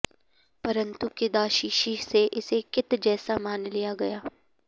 परन्तु किदाशिषि से इसे कित् जैसा मान लिया गया